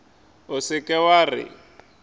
o se ke wa re